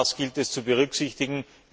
Auch dies gilt es zu berücksichtigen.